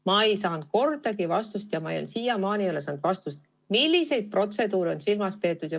Ma ei saanud sellele vastust – ma siiamaani ei ole saanud vastust, milliseid protseduure on silmas peetud.